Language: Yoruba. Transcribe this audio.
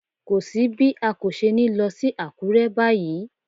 Kò sí bí a kò ṣe ní lọ sí Àkúrẹ́ báyìí.